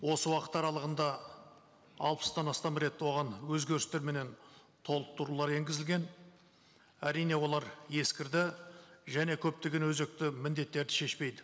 осы уақыт аралығында алпыстан астам рет оған өзгерістер менен толықтырулар енгізілген әрине олар ескірді және көптеген өзекті міндеттерді шешпейді